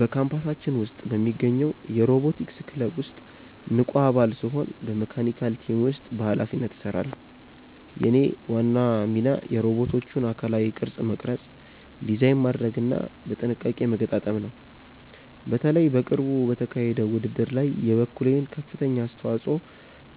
በካምፓሳችን ውስጥ በሚገኘው የሮቦቲክስ ክለብ ውስጥ ንቁ አባል ስሆን በመካኒካል ቲም ውስጥ በኃላፊነት እሰራለሁ። የእኔ ዋና ሚና የሮቦቶቹን አካላዊ ቅርጽ መቅረጽ፣ ዲዛይን ማድረግና በጥንቃቄ መገጣጠም ነው። በተለይ በቅርቡ በተካሄደው ውድድር ላይ የበኩሌን ከፍተኛ አስተዋጽኦ